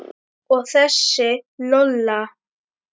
Og þessi Lola.